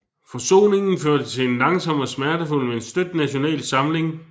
Forsoningen førte til en langsom og smertefuld men støt national samling